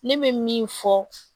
Ne bɛ min fɔ